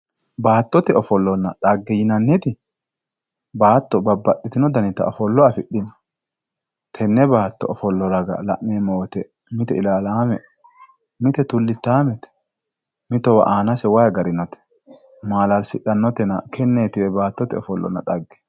Batotte ofollonna dhage yinaniti bato babbaxxino dani ofollo afidhino tenne baatto ofollo raga la'neemo woyiite mite ilalaame mitte tullittaamete mitowa aanase wayi garinote maala'lisitanotenna tennetiwe baattote ofollo dhage